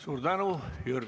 Suur tänu!